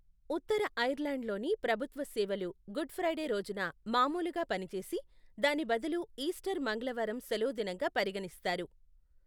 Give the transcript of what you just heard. ఉత్తర ఐర్లాండ్లోని ప్రభుత్వ సేవలు గుడ్ ఫ్రైడే రోజున మామూలుగా పనిచేసి, దాని బదులు ఈస్టర్ మంగళవారం సెలవుదినంగా పరిగణిస్తారు.